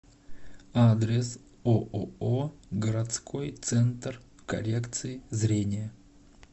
адрес ооо городской центр коррекции зрения